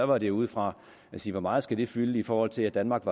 var det ud fra at sige hvor meget skal det fylde i forhold til at danmark